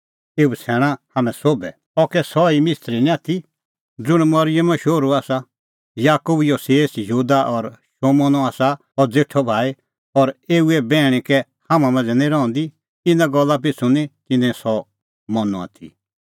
एऊ बछ़ैणा हाम्हैं सोभै अह कै सह ई मिस्त्री निं आथी ज़ुंण मरिअमो शोहरू आसा याकूब योसेस यहूदा और शमौनो आसा अह ज़ेठअ भाई और एऊए बैहणी कै हाम्हां मांझ़ै निं रहंदी इना गल्ला पिछ़ू निं तिन्नैं सह मनअ आथी